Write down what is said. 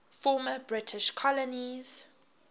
former british colonies